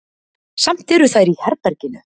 Samt eru þær í herberginu.